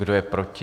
Kdo je proti?